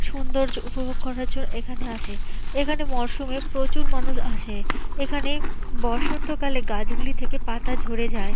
সুন্দর্য উপভোগ করার জন্য এখানে আসে এখানে মরসুমে প্রচুর মানুষ আসে এখানে বসন্ত কালে গাছগুলি থেকে পাতা ঝরে যায়।